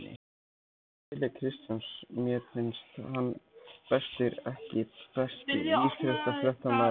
Keli Kristjáns mér finnst hann bestur EKKI besti íþróttafréttamaðurinn?